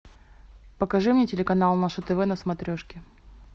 покажи мне телеканал наше тв на смотрешке